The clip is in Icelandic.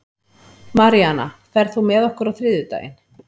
Maríana, ferð þú með okkur á þriðjudaginn?